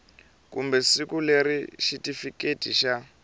kumbe siku leri xitifiketi xa